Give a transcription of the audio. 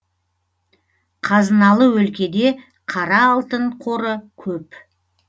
қазыналы өлкеде қара алтын қоры көп